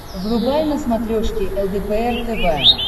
врубай на смотрешке лдпр тв